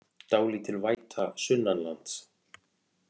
Dálítil væta sunnanlands